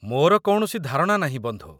ମୋର କୌଣସି ଧାରଣା ନାହିଁ, ବନ୍ଧୁ।